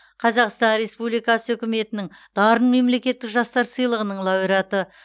қазақстан республикасы үкіметінің дарын мемлекеттік жастар сыйлығының лауреаты